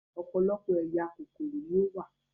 Ọ̀pọ̀lọpọ̀ ẹ̀yà kòkòrò ni ó wà